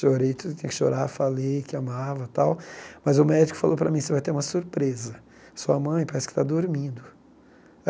Chorei, tudo que tinha que chorar, falei que amava e tal, mas o médico falou para mim, você vai ter uma surpresa, sua mãe parece que está dormindo.